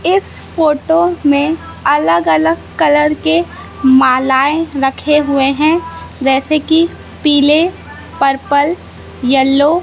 इस फोटो में अलग अलग कलर के मालाएँ रखें हुवे हैं जैसे की पीले पर्पल यल्लो --